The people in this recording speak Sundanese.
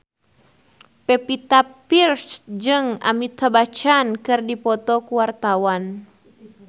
Pevita Pearce jeung Amitabh Bachchan keur dipoto ku wartawan